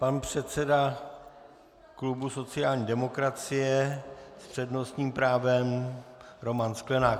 Pan předseda klubu sociální demokracie s přednostním právem Roman Sklenák.